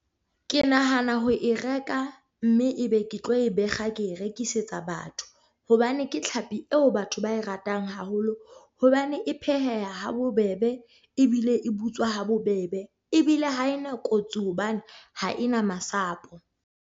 Ke nahana ho e reka mme ebe ke tlo e bekga ke e rekisetsa batho, hobane ke tlhapi eo batho ba e ratang haholo. Hobane e pheheha ha bobebe ebile e butswa ha bobebe ebile ha e na kotsi hobane ha e na masapo.